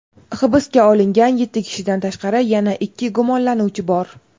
hibsga olingan yetti kishidan tashqari yana ikki gumonlanuvchi bor.